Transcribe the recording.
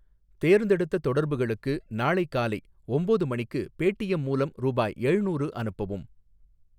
தேர்ந்தெடுத்த தொடர்புகளுக்கு நாளை காலை ஒம்போது மணிக்கு பேடீஎம் மூலம் ரூபாய் ஏழ்நூறு அனுப்பவும்.